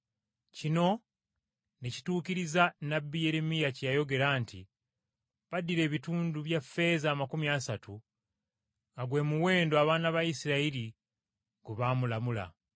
Kino ne kituukiriza nnabbi Yeremiya bye yayogera nti, “Baddira ebitundu bya ffeeza amakumi asatu, nga gwe muwendo abaana ba Isirayiri gwe baamulamula,